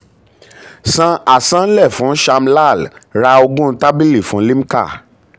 san um àsansílẹ̀ fún sham lal ra ogún tábìlì fún limca